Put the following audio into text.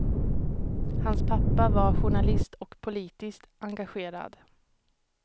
Hans pappa var journalist och politiskt engagerad.